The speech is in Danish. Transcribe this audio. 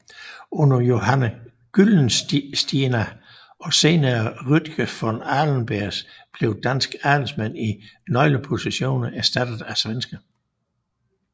Under Johan Gyllenstierna og senere Rutger von Aschenberg blev danske adelsmænd i nøglepositioner erstattet af svenske